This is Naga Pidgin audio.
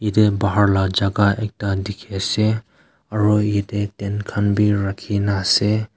yatae bahar la jaka ekta dikhiase aru yatae tent khan bi rakhina ase.